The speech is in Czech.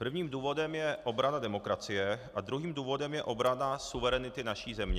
Prvním důvodem je obrana demokracie a druhým důvodem je obrana suverenity naší země.